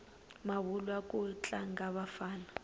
mavulwa ku tlanga vafana